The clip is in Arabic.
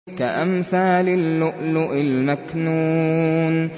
كَأَمْثَالِ اللُّؤْلُؤِ الْمَكْنُونِ